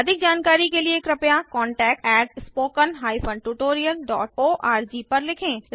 अधिक जानकारी के लिए कृपया contactspoken tutorialorg पर लिखें